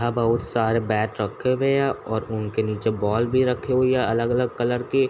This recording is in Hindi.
यहाँ बहुत सारे बैट रखे हुए हैं और उनके नीचे बॉल भी रखी हुई है अलग-अलग कलर की --